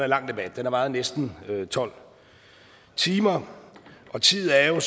lang debat den har varet i næsten tolv timer og tid er jo